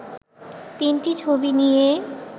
তিনটি ছবি নিয়ে